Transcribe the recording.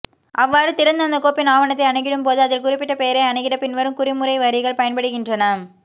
அவ்வாறு திறந்து அந்த கோப்பின் ஆவணத்தை அனுகிடும்போது அதில் குறிப்பிட்ட பெயரை அனுகிட பின்வரும் குறிமுறைவரிகள் பயன்படுகின்றன